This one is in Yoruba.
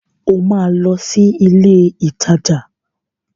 O máa lọ sí ilé-ìtajà.